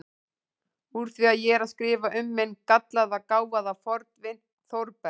Úr því ég er að skrifa um minn gallaða, gáfaða fornvin Þórberg